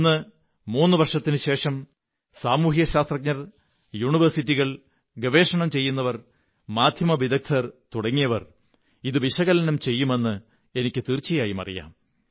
ഇന്ന് മൂന്നു വര്ഷെത്തിനുശേഷം സാമൂഹിക ശാസ്ത്രജ്ഞർ സര്വതകലാശാലകൾ ഗവേഷകർ മാധ്യമ വിദഗ്ധർ തുടങ്ങിയവർ ഇതു വിശകലനം ചെയ്യുമെന്ന് എനിക്കു തീര്ച്ച യായും അറിയാം